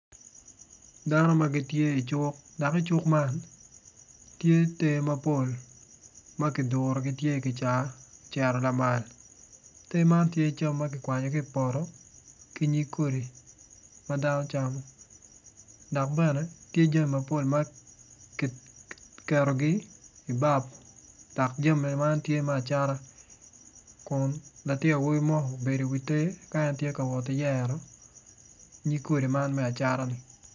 Dano ma gitye i cuk dok cuk man tye ter mapol ma kidurogi gitye i kica ter man tye cam ma kikwanyo ki i poto ki nyig kodi ma dano camo dok tye jami mapol ma kiketogi i bap. Dok jami man tye me acata dok latin awobi obedo i wi ter dok tye ka wot ki yero nyig kodi man me acata-ni.